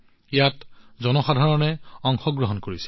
ইয়াত জনসাধাৰণৰ অংশগ্ৰহণ দেখা গৈছিল